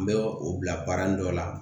N bɛ o bila baara dɔ la